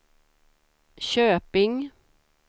Köping